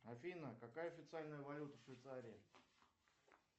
афина какая официальная валюта в швейцарии